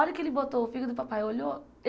A hora que ele botou o fígado e o papai olhou.